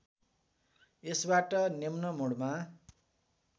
यसबाट निम्न मुडमा